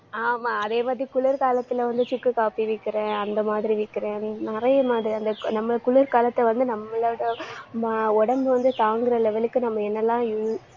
ஆமா அதே மாதிரி குளிர்காலத்துல வந்து சுக்கு காப்பி விக்கிறேன் அந்த மாதிரி விக்கிறேன் நிறைய மாதிரி அந்த நம்ம குளிர்காலத்தை வந்து நம்மளோட ம~ உடம்பு வந்து தாங்குற level க்கு நம்ம என்னெல்லாம்